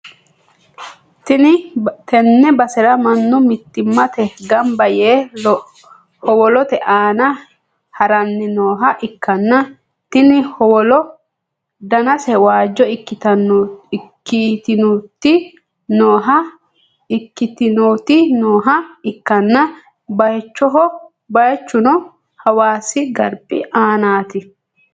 tenne basera mannu mittimmatenni gamba yee howolote aana ha'ranni nooha ikkanna, tini howolono danase waajjo ikkitinoti nooha ikkanna, bayichuno hawaasi garbi aanaati.